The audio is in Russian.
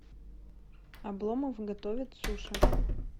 обломов готовит суши